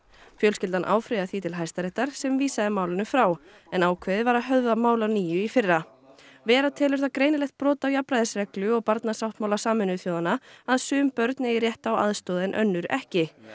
fjölskyldan áfrýjaði því til Hæstaréttar sem vísaði málinu frá en ákveðið var að höfða mál að nýju í fyrra vera telur það greinilegt brot á jafnræðisreglu og barnasáttmála Sameinuðu þjóðanna að sum börn eigi rétt á aðstoð en önnur ekki